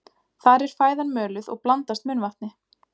Þar er fæðan möluð og blandast munnvatni.